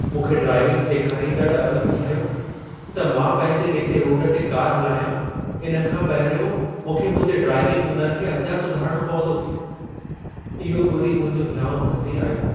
मूंखे ड्राइविंग सेखारींदड़ अॼु ॿुधायो त मां पंहिंजे लेखे रोड ते कार हलायां इन खां पहिरियों मूंखे मुंहिंजे ड्राइविंग हुनर खे अञां सुधारणो पवंदो। इहो ॿुधी मुंहिंजो हिंयाउ भरिजी आयो।